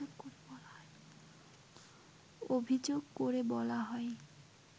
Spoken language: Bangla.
অভিযোগ করে বলা হয়